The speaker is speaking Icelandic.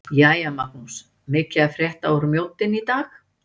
Jæja Magnús- mikið að frétta úr Mjóddinni í dag?